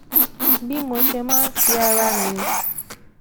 bí mo ṣe máa ń fi ara mi